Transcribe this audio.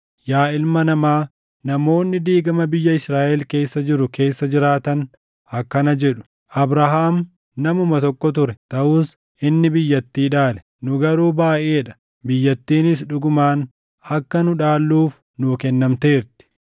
“Yaa ilma namaa, namoonni diigama biyya Israaʼel keessa jiru keessa jiraatan akkana jedhu; ‘Abrahaam namuma tokko ture; taʼus inni biyyattii dhaale. Nu garuu baayʼee dha; biyyattiinis dhugumaan akka nu dhaalluuf nuu kennamteerti.’